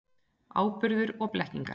Áburður og blekkingar.